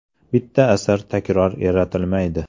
Bitta asar takror yaratilmaydi.